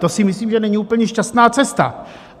To si myslím, že není úplně šťastná cesta.